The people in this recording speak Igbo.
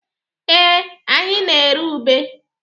Ee, anyị na-ere ube.